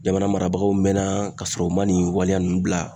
Jamana marabagaw mɛnna ka sɔrɔ u man nin waleya ninnu bila